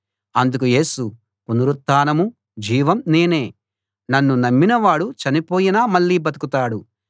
అందుకు యేసు పునరుత్థానం జీవం నేనే నన్ను నమ్మినవాడు చనిపోయినా మళ్ళీ బతుకుతాడు